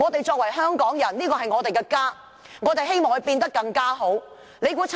身為香港人，這裏是我們的家，我們希望它變得更好。